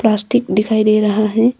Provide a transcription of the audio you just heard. Plastic दिखाई दे रहा है।